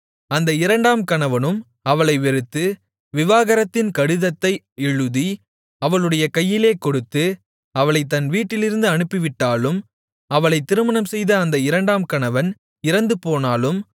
அந்த இரண்டாம் கணவனும் அவளை வெறுத்து விவாகரத்தின் கடிதத்தை எழுதி அவளுடைய கையிலே கொடுத்து அவளைத் தன் வீட்டிலிருந்து அனுப்பிவிட்டாலும் அவளைத் திருமணம்செய்த அந்த இரண்டாம் கணவன் இறந்துபோனாலும்